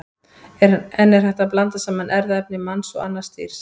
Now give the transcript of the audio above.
En er hægt að blanda saman erfðaefni manns og annars dýrs?